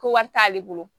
Ko wari t'ale bolo